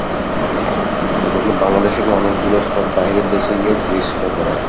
এজন্য বাংলাদেশের মানুষগুলো সব বাহিরের দেশে গিয়ে চিকিৎসা টা করাই,